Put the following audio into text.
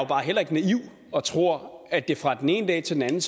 bare heller ikke naiv og tror at vi fra den ene dag til den